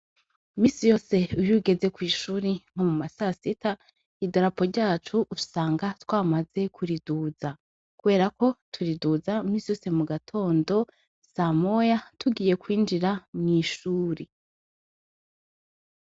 Minsi yose iyugeze kwishure nko mu masasita idarapo ryacu usanga twamaze kuriduza kuberako turiduza minsi yose mugatondo samoya tugiye kwinjira mwishure.